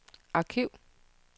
arkiv